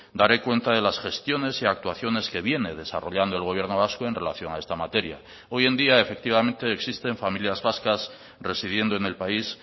daré cuenta de las gestiones y actuaciones que viene desarrollando el gobierno vasco en relación a esta materia hoy en día efectivamente existen familias vascas residiendo en el país